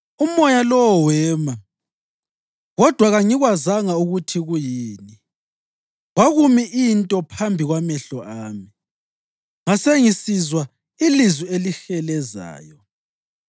Umoya lowo wema, kodwa kangikwazanga ukuthi kuyini. Kwakumi into phambi kwamehlo ami, ngasengisizwa ilizwi elihelezayo: